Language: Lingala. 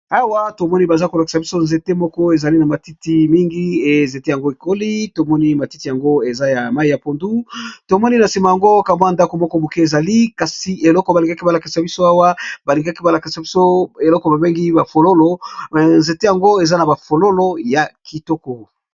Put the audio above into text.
Awa tomoni bazali kolakisa nzete moko ezali na matiti mingi, pe nzete yango esi ekoli mingi